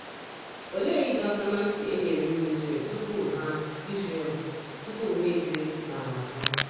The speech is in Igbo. Olee ịdọ aka ná ntị e nyere ụmụ Izrel tupu ha Izrel tupu ha ebiri n’ala ha?